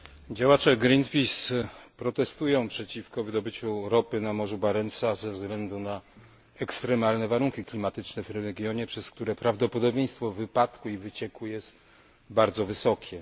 Działacze Greenpeace protestują przeciwko wydobyciu ropy na morzu Barentsa ze względu na ekstremalne warunki klimatyczne w tym regionie, przez które prawdopodobieństwo wypadku i wycieku jest bardzo wysokie.